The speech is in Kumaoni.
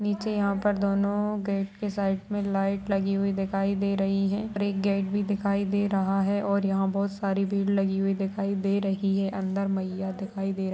नीचे यहाँ पर दोनों गेट के साइड में लाइट लगी हुई दिखाई दे रही हैं और एक गेट भी दिखाई दे रहा है और यहाँ बहोत सारी भीड़ लगी हुई दिखाई दे रही है अंदर मइया दिखाई दे रही --